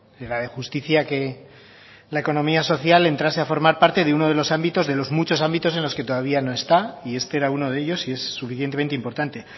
de la de justicia que la economía social entrase a formar parte de uno de los ámbitos de los muchos ámbitos en los que todavía no está y este era uno de ellos y es suficientemente importante